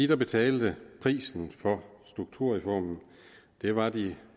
der betalte prisen for strukturreformen var de